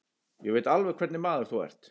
Ég veit alveg hvernig maður þú ert.